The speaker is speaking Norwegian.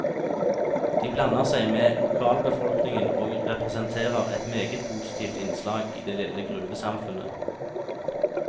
De blander seg med lokalbefolkningen og representerer et meget positivt innslag i det lille gruvesamfunnet.